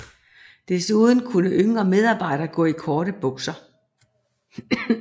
Desuden kunne yngre medarbejdere gå i korte bukser